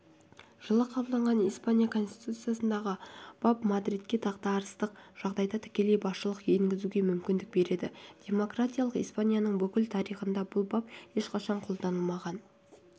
жылы қабылданған испания конституциясындағы бап мадридке дағдарыстық жағдайда тікелей басшылық енгізуге мүмкіндік береді демократиялық испанияның бүкіл тарихында бұл бап ешқашан қолданылмаған